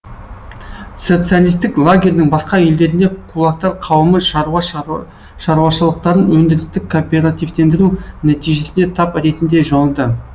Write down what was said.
социалистік лагерьдің басқа елдерінде кулактар қауымы шаруа шаруашылықтарын өндірістік кооперативтендіру нәтижесінде тап ретінде жойылды